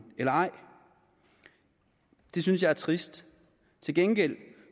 eller ej det synes jeg er trist til gengæld